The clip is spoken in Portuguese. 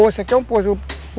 Esse aqui é um posto.